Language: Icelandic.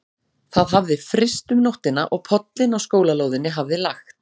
Það hafði fryst um nóttina og pollinn á skólalóðinni hafði lagt.